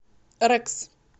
рекс